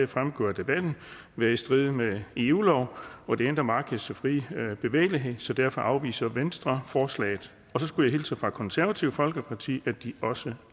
fremgået af debatten være i strid med eu lov og det indre markeds frie bevægelighed så derfor afviser venstre forslaget så skulle jeg hilse fra konservative folkeparti og at de også